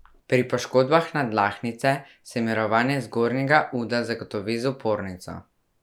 Pri poškodbah nadlahtnice se mirovanje zgornjega uda zagotovi z opornico.